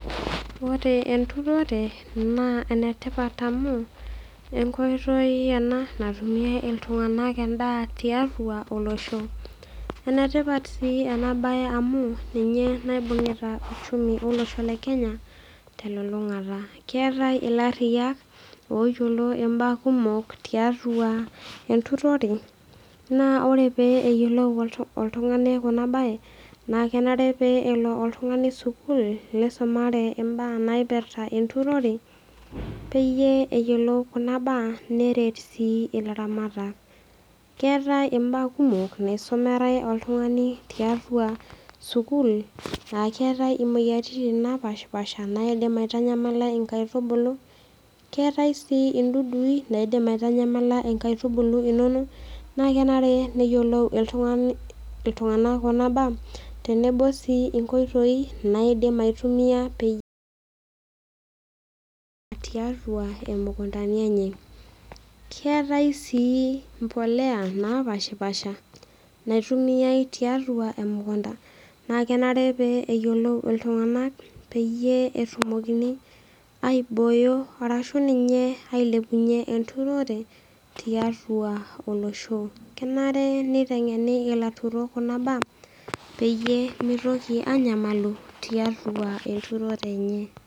Ore enturore naa ene tipat amu enkoitoi ena natumie iltung'ana endaa tiatua olosho enetipat sii ena mbae amu ninye naibungieta uchumi olosho lee Kenya telulung'ata keetae elariyiak oyiolo mbaa kumok tiatua enturore naa ore pee eyiolou oltunga'ani Kuna mbae naa kenare pee elo oltung'ani sukuul nisumare mbaa naipirta enturore pee eyiolou Kuna mbaa neret sii elaramat keetae mbaa kumok naisumare oltung'ani tiatua sukuul aa keetae emoyiaritin napashipasha naidim aitanyamala enkaitubulu keetae sii dudui naidim aitanyamala enkaitubulu enono naa kenare niyiolou iltung'ana Kuna mbaa tenebo sii nkoitoi naidim aitumia pee tiatua emukunda enye keetae sii mbolea napashipasha naitumiai tiatua emukunda naa kenare pee eyiolou iltung'ana peeyie etumokini aiboyo arashu ninye ailepunye enturore tiatua olosho kenare nitengene ilaturuk Kuna mbaa peyie mitoki anyamalu tiatua enturore enye